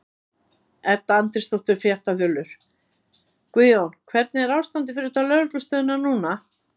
Edda Andrésdóttir, fréttaþulur: Guðjón, hvernig er ástandið fyrir utan lögreglustöðina núna?